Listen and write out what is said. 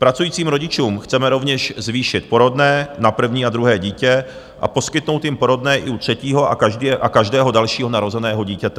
Pracujícím rodičům chceme rovněž zvýšit porodné na první a druhé dítě a poskytnout jim porodné i u třetího a každého dalšího narozeného dítěte.